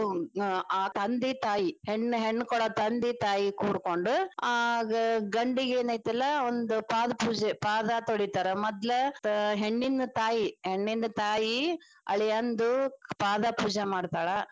ಅಹ ತಂದಿ ತಾಯಿ ಹೆಣ್ಣ ಹೆಣ್ಣಕೊಡ ತಂದಿ ತಾಯಿ ಕೂಡ್ಕೊಂಡ ಆ ಗಂಡಿಗ ಏನೈತಲ್ಲಾ ಅವಂದ ಪಾದ ಪೂಜೆ ಪಾದ ತೊಳೀತಾರ ಮೊದ್ಲ ಹೆಣ್ಣಿನ ತಾಯಿ ಹೆಣ್ಣಿನ ತಾಯಿ ಅಳಿಯಂದು ಪಾದ ಪೂಜಾ ಮಾಡ್ತಾಳ.